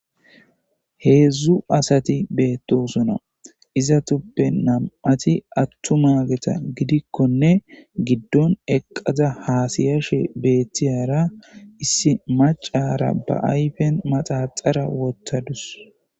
Heedzdzu asati beettosuna izatuppe nam'ati attu mageta gidikkonne giddon eqqaza haasiyashe beettiyara issi macara ba ayfen maxaxara wottadus.